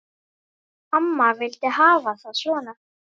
Amma vildi hafa það svona.